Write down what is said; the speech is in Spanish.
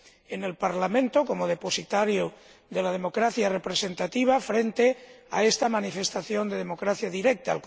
en el Parlamento, como depositario de la democracia representativa, frente a esta manifestación de democracia directa.